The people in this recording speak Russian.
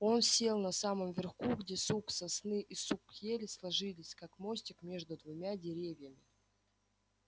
он сел на самом верху где сук сосны и сук ели сложились как мостик между двумя деревьями